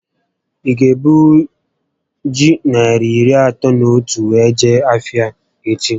Ị ga ebunwu ji narị iri atọ na otu a wee jee ahịa echi?